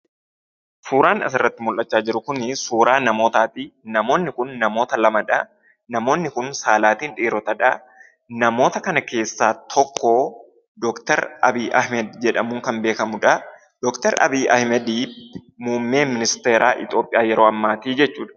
Suuraan as irratti mul'achaa jiru kun, suuraa namootati. Namoonni kun, namoota lamadha. namoonni kun, saalaatin dhiirotadha. namoota kana keessaa tokko Dr. Abiy Ahmed jedhamuun kan beekamudha. Dr. Abiy Ahmed muummee ministeera yeroo ammaati jechuudha.